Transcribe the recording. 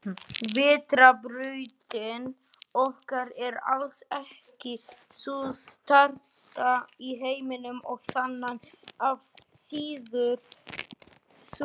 Vetrarbrautin okkar er alls ekki sú stærsta í alheiminum og þaðan af síður sú eina.